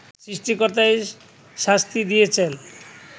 সৃষ্টিকর্তাই শাস্তি দিয়েছেন